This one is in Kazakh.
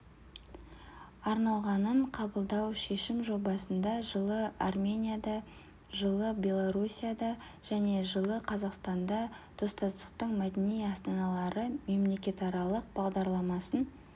арналғанынқабылдау шешім жобасында жылы арменияда жылы белоруссияда және жылы қазақстанда достастықтың мәдени астаналары мемлекетаралық бағдарламасын